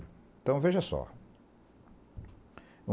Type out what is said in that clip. Então, veja só.